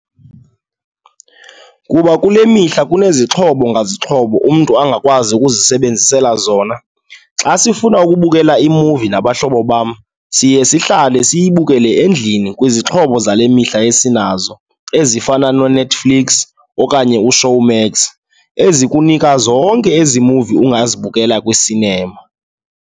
Kuba kule mihla kunezixhobo ngazixhobo umntu angakwazi ukuzisebenzela zona. Xa sifuna ukubukela imuvi nabahlobo bam, siye sihlale siyebukele endlini kwizixhobo zale mihla esinazo ezifana noNetflix okanye uShowmax ezikunika zonke ezi muvi ungazibukela kwisinema.